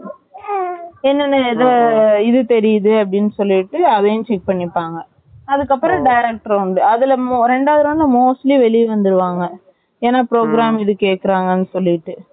என்ன என்ன இது இது தெரியுது அப்படின்னு சொல்லிட்டு அதையும் check பண்ணிப்பாங்க அதுக்கு அப்புறம் direct round ரெண்டாவது round ல mostly வெளில வந்துருவாங்க ஏன்னா program இது கேக்குறாங்கன்னு சொல்லிட்டு